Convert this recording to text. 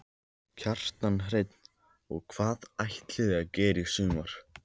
Kjartan Hreinn: Og hvað ætlið þið að gera í sumar?